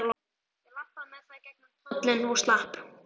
Ég labbaði með það í gegnum tollinn og slapp.